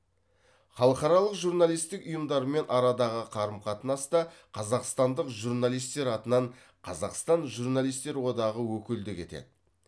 халықаралық журналистік ұйымдармен арадағы қарым қатынаста қазақстандық журналистер атынан қазақстан журналистер одағы өкілдік етеді